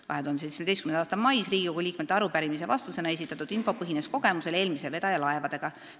2017. aasta mais Riigikogu liikmete arupärimise vastusena esitatud info põhines kogemusel eelmise vedaja laevadega.